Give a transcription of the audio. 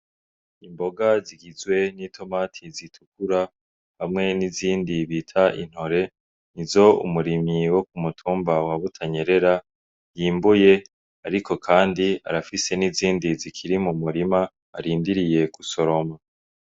Imboga zigizwe n'i tomati zitukura hamwe n'izindi bita intore ni zo umurimi wo ku mutumba wabutanyerera yimbuye, ariko, kandi arafise n'izindi zikiri mu murima arindiriye ku soloma.